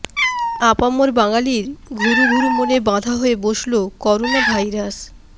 আপামর বাঙালির ঘুরু ঘুরু মনে বাধা হয়ে বসল করোনা ভাইরাস